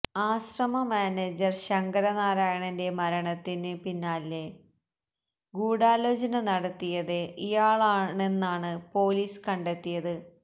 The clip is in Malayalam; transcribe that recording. ആശ്രമ മാനേജര് ശങ്കരനാരായണന്റെ മരണത്തിന് പിന്നില് ഗൂഢാലോചന നടത്തിയത് ഇയാളാണെന്നാമ് പോലീസ് കണ്ടെത്തിയത്